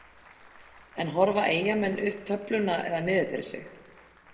En horfa Eyjamenn upp töfluna eða niður fyrir sig?